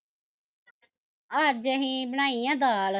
ਅੱਜ ਅਸੀਂ ਬਣਾਈ ਆ ਦਾਲ